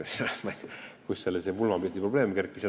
Ma ei tea, kust selline pulmapildiprobleem tekkis.